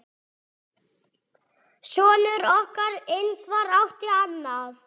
Sonur okkar, Ingvar, átti annað.